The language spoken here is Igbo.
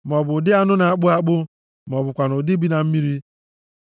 maọbụ nʼụdị anụ na-akpụ akpụ, ma ọ bụkwanụ nʼụdị azụ bi na mmiri.